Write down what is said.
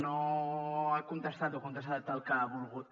no ha contestat o ha contestat el que ha volgut